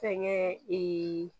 Fɛnkɛ